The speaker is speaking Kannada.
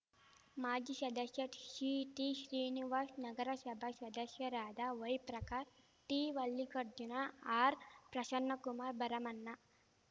ಮಾಜಿ ಶದಶ್ಯಾ ಶಿಟಿ ಶ್ರೀನಿವಾಶ್ ನಗರಶಭಾ ಶದಶ್ಯರಾದ ವೈಪ್ರಕಾಶ್‌ ಟಿವಲ್ಲಿಕಾರ್ಜುನ ಆರ್‌ಪ್ರಶನ್ನಕುಮಾರ್ ಭರಮಣ್ಣ